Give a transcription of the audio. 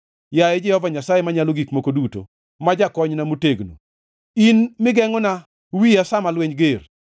Yaye Jehova Nyasaye Manyalo Gik Moko Duto, ma jakonyna motegno, in migengʼona wiya sa ma lweny ger.